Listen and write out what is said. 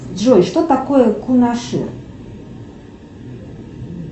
джой что такое кунаши